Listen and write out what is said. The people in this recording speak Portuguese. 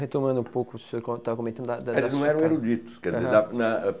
Retomando um pouco o senhor quando estava comentando da da... Eles não eram eruditos.